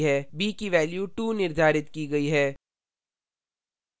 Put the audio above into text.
b की value 2 निर्धारित की गयी है